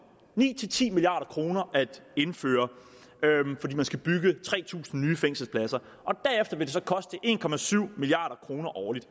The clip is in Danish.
ni ti milliard kroner at indføre fordi man skal bygge tre tusind nye fængselspladser derefter vil det så koste en milliard kroner årligt